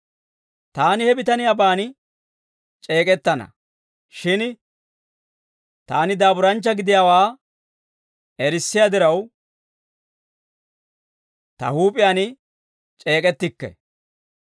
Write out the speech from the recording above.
Taani he bitaniyaaban c'eek'ettana; shin taani daaburanchcha gidiyaawaa erissiyaa diraw, ta huup'iyaan c'eek'ettikke.